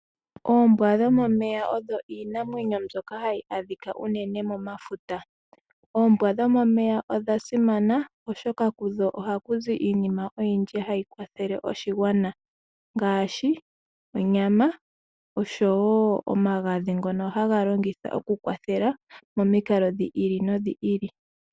Oombwa dhomomeya oyo iinamwenyo mbyoka hayi adhika momafuta. Oombwa dhomomeya odha simana oshoka kudho ohaku zi iinima oyindi hayi kwathele oshigwana, ngaadhi onyama oshowo omagadhi ngono haga longithwa oku kwathela momikalo dhi ili nodhi ili.